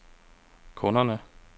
kunderne